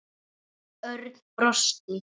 Örn brosti.